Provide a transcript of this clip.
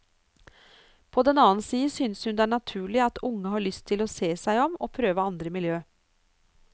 På den annen side synes hun det er naturlig at unge har lyst til å se seg om og prøve andre miljø.